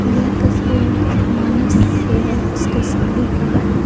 यह तस्वीर मानस स्टेशनरी का है।